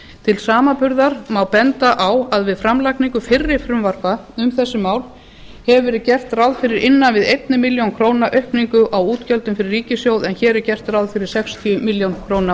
til samanburðar má benda á að við framlagningu fyrri frumvarpa um þessi mál hefur verið gert ráð fyrir innan við eina milljón króna aukningu á útgjöldum fyrir ríkissjóð en hér er gert ráð fyrir sextíu milljónir króna